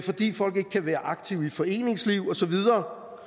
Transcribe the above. fordi folk ikke kan være aktive i foreningslivet og så videre